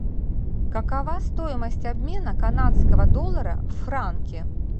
какова стоимость обмена канадского доллара в франки